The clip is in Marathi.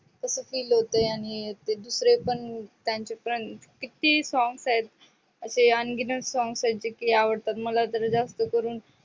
तस feel आणि ते दुसरे पण त्यांचे किती songs आहेत. असे अंगिणक song आहेत जे की आवडतात मला त्याचे ज्यास्त करून.